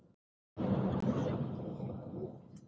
Eða því sem næst.